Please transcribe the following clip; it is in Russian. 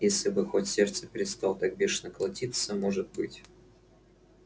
если бы хоть сердце перестало так бешено колотиться может быть